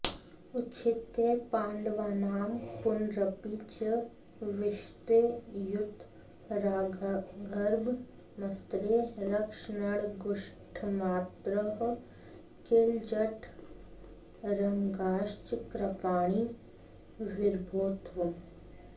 उच्छित्त्यै पाण्डवानां पुनरपि च विशत्युत्तरागर्भमस्त्रे रक्षन्नङ्गुष्ठमात्रः किल जठरमगाश्चक्रपाणिर्विभो त्वम्